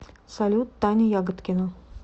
салют таня ягодкина